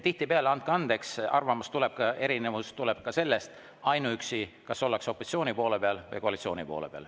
Tihtipeale, andke andeks, tuleb arvamuste erinevus ka ainuüksi sellest, kas ollakse opositsiooni poole peal või koalitsiooni poole peal.